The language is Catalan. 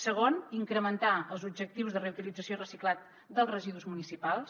segon incrementar els objectius de reutilització i reciclat dels residus municipals